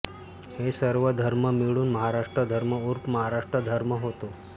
हे सर्व धर्म मिळून महाराष्ट्रधर्म ऊर्फ माराष्ट्रधर्म होतो